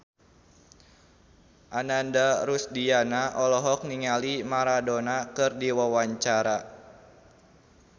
Ananda Rusdiana olohok ningali Maradona keur diwawancara